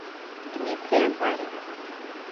дмитрия баринова